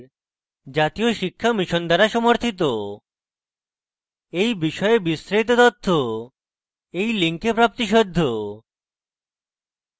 এই বিষয়ে বিস্তারিত তথ্য এই link প্রাপ্তিসাধ্য